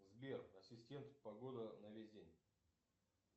сбер ассистент погода на весь день